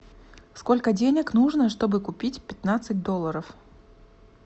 сколько денег нужно чтобы купить пятнадцать долларов